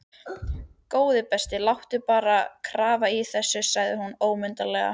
Góði besti, láttu bara grafa í þessu sagði hún ólundarlega.